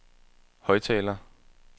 højttaler